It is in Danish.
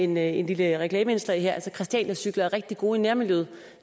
med et lille reklameindslag her christianiacykler er rigtig gode i nærmiljøet